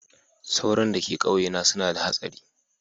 Tsoron da ka kauye na suna da hatsari.